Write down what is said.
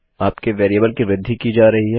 आपके वेरिएबल की वृद्धि की जा रही है